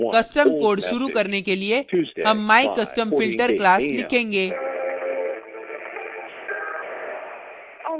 custom code शुरू करने के लिए हम mycustomfilter class लिखेंगे